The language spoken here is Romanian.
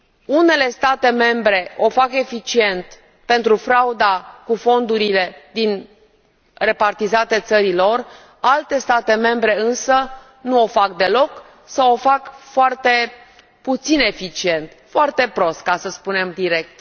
Unele state membre o fac eficient pentru frauda cu fondurile repartizate țării lor, alte state membre însă nu o fac deloc sau o fac foarte puțin eficient foarte prost, ca să spunem direct.